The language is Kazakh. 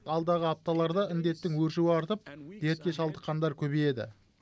алдағы апталарда індеттің өршуі артып дертке шалдыққандар көбейеді